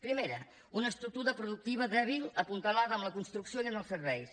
primera una estructura productiva dèbil apuntalada en la construcció i en els serveis